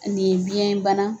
Ɛ nin ye biyɛnbanna